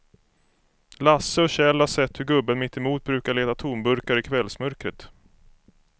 Lasse och Kjell har sett hur gubben mittemot brukar leta tomburkar i kvällsmörkret.